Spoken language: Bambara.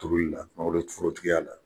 Tobiili la, mago be t forotigiya la